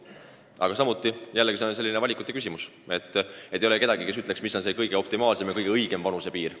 Aga kordan, see on valikute küsimus – ei ole kedagi, kes ütleks, mis on see optimaalne, see kõige õigem vanusepiir.